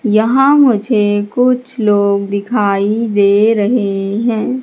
यहां मुझे कुछ लोग दिखाई दे रहे हैं।